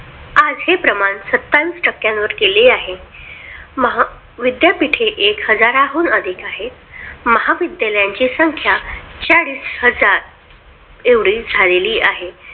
आज हे प्रमाण सत्तावीस टक्क्यांवर गेले आहे. महा विद्यापीठे एक हजाराहून अधिक आहेत महाविद्यालयांची संख्या चाळीस हजार एवढी झालेली आहे.